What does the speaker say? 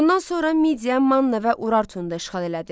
Bundan sonra Midiya, Manna və Urartunu da işğal elədi.